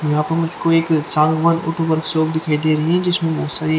यहा प मुझको एक दिखाई दे रही है जिसमे बहोत सारी--